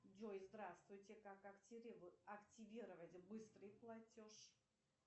джой здравствуйте как активировать быстрый платеж